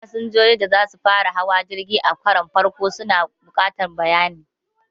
Fasinjoji da za su fara hawa jirgi a karon farko sukan buƙaci bayanai